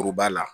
Kuruba la